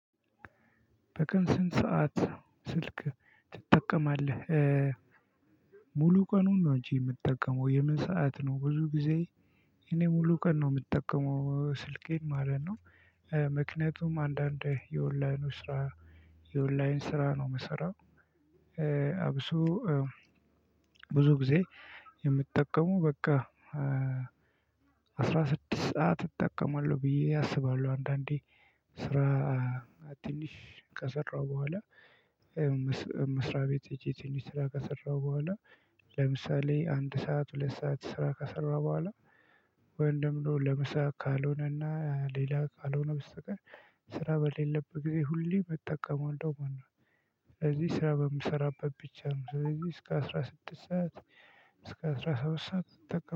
በቀን ስንት ሰዓት ስልክ ትጠቀማለህ? ሙሉ ቀኑን ነው እንጂ የምትጠቀመው የምን ሰዓት ነው? ብዙ ጊዜ እኔ ሙሉ ቀን ነው የምጠቀመው ስልኬን ማለት ነው። ምክንያቱም አንዳንዴ የኦንላይኑ ስራ የኦንላይን ስራ ነው የምሰራው። አብሶ ብዙ ጊዜ የምትጠቀመው በቃ አስራ ስድስት ሰዓት እጠቀማለሁ ብዬ አስባለሁ። አንዳንዴ ስራ ትንሽ ከሰራሁ በኋላ እ መስሪያ ቤት ሄጄ ትንሽ ስራ ከሰራሁ በኋላ ለምሳሌ አንድ ሰዓት ሁለት ሰዓት ስራ ከሰራሁ በኋላ። ወይም ደሞ ለምሳ ካልሆነና ሌላ ካልሆነ በስተቀር ስራ በሌለበት ጊዜ ሁሌ እምጠቀመው አንዷ ማነው? ስለዚህ ስራ በምሰራበት ብቻ ነው ስለዚህ እስከ አስራ ስድስት ሰዓት እስከ አስራ ሰባት ሰዓት።